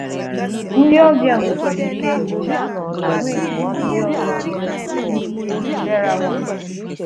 Ndị ọbịa nwekwara ike nyochaa àgwàetiti ndị ọzọ nọ na gburugburu Derawan.